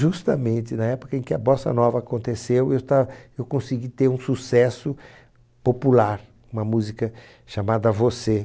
Justamente na época em que a Bossa Nova aconteceu, eu ta eu consegui ter um sucesso popular, com uma música chamada Você.